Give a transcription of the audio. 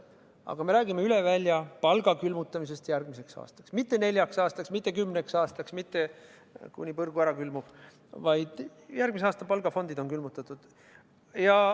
Aga me räägime üle välja palga külmutamisest järgmiseks aastaks – mitte neljaks aastaks, mitte kümneks aastaks, mitte seniks, kuni põrgu ära külmub, vaid üksnes järgmise aasta palgafond on külmutatud.